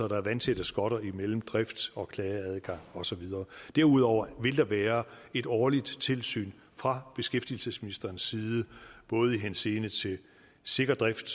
der er vandtætte skotter imellem drift og klageadgang og så videre derudover vil der være et årligt tilsyn fra beskæftigelsesministerens side både i henseende til sikker drift